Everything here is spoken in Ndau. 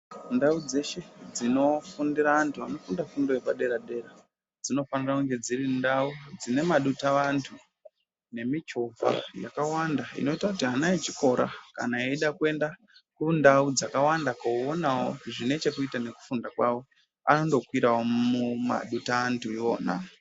Ndau dzeshe dzinofundira antu anofunda fundo yepadera-dera, dzinofanira kunge dziri ndau dzine madutavantu nemichovha yakawanda inoita kuti ana echikora kana eyida kuenda kundau dzakawanda koonawo zvine chekuita nekufunda kwawo anondokwirawo mumadutaantu iwona.